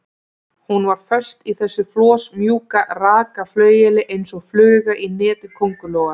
Hún var föst í þessu flosmjúka, raka flaueli eins og fluga í neti köngulóar.